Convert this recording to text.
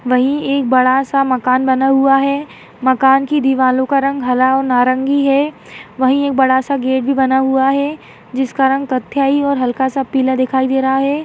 वही एक बडासा मकान बना हुआ है मकान की दिवारो का रंग हरा और नारंगी है वही एक बड़ासा गेट बना हुआ है जिसका रंग कत्थई और हल्कासा पीला रंग दिखाई दे रहा है।